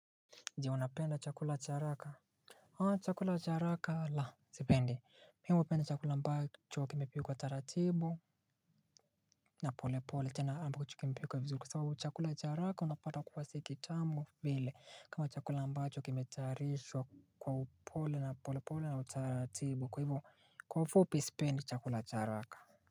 Je unapenda chakula cha haraka. Haa chakula cha haraka laa sipendi. Mimi hupenda chakula ambacho kimepikwa taratibu na pole pole tena ambacho kimepikwa vizuri kwa sababu chakula cha haraka unapata kuwa siki tamu vile kama chakula ambacho kimetayarishwa kwa upole na pole pole na utaratibu kwa hivo kwa ufupi sipendi chakula cha haraka.